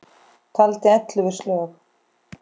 Taldi ellefu slög.